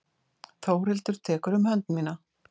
Þórhildur tekur um hönd mína.